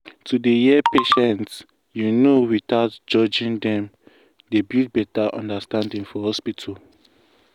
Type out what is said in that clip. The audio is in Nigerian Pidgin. to dey hear patients you know without judging dem dey build better understanding for hospital.